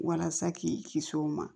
Walasa k'i kisi o ma